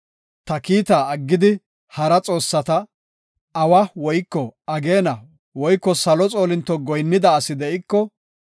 ta kiita aggidi, hara xoossata, awa woyko ageena woyko salo xoolinto goyinnida asi de7iko,